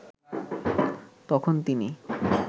তখন তিনি